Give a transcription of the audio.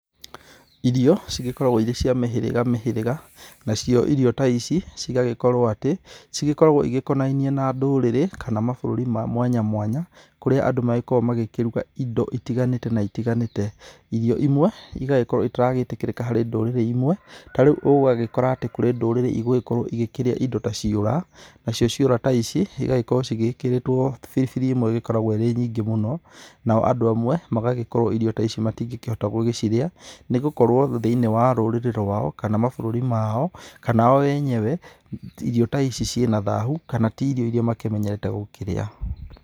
Irio, cigĩkoragwo irĩ cia mĩhĩrĩga mĩhĩrĩga, nacio irio ta ici, cigagĩkorwo atĩ cigĩkoragwo igĩkonainiĩ na ndũrĩrĩ kana mabũrũri ma mwanya mwanya. Kũrĩa andũ magĩgĩkoragwo magĩkĩruga indo itiganĩte na itiganĩte. Irio imwe, igagĩkorwo itaragĩtĩkĩrĩka harĩ ndũrĩrĩ imwe. Ta rĩu ũgagĩkora atĩ kũrĩ ndũrĩrĩ igũĩkorwo igĩkĩrĩa indo ta ciũra. Nacio ciũra ta ici igagĩkorwo cigĩkĩrĩtwo biribiri ĩmwe ĩgĩkoragwo ĩrĩ nyingĩ mũno. Nao andũ amwe magagĩkorwo irio ta ici matingĩkĩhota gũgĩcirĩa nĩgũkorwo thĩinĩ wa rũrĩrĩ rwao, kana mabũrũri mao, kana o enyewe, irio ta ici ciĩ na thahu, kana ti irio iria makĩmenyerete gũkĩrĩa.